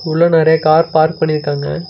உள்ள நெறைய car park பண்ணிருக்காங்க.